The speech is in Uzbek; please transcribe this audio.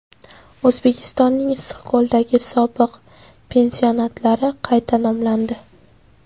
O‘zbekistonning Issiqko‘ldagi sobiq pansionatlari qayta nomlandi.